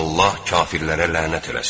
Allah kafirlərə lənət eləsin.